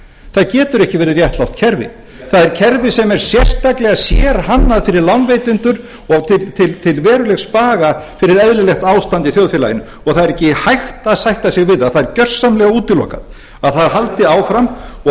það getur ekki verið réttlátt kerfi það er kerfi sem er sérstaklega sérhannað fyrir lánveitendur og til verulegs baga fyrir eðlilegt ástand í þjóðfélaginu og það er ekki hægt að sætta sig við það það er gjörsamlega útilokað að það haldi áfram og